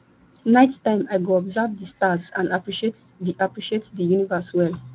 night time i go observe di stars and appreciate di appreciate di universe well